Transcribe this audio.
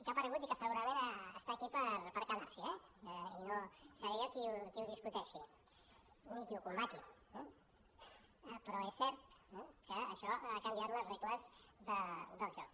que ha aparegut i que segurament està aquí per quedar s’hi eh i no seré jo qui ho discuteixi ni qui ho combati però és cert que això ha canviat les regles del joc